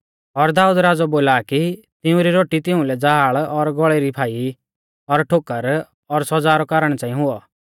और दाऊद राज़ौ बोला आ कि तिऊं री रोटी तिउंलै ज़ाल और गौल़ै री फाई और ठोकर और सौज़ा रौ कारण च़ांई हुऔ